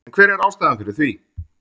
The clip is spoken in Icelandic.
En hver er ástæðan fyrir því?